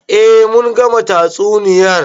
Eh mun gama tatsuniyar.